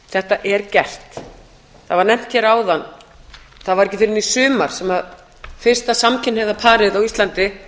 þetta er gert það var nefnt hér áðan það var ekki fyrr en í sumar sem fyrsta samkynhneigða parið á íslandi